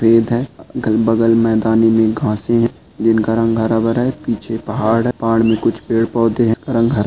है अगल बंगल में जिनका रंग हरा भरा है पीछे पहाड़ है पहाड़ में कुछ पेड़ पौधे हैरंग हरा--